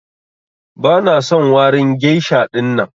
Bana son warin geisha ɗinnan.